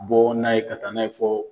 Ka bɔ n'a ye ka taa n'a ye fɔ